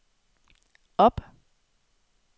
op